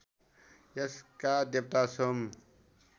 यसका देवता सोम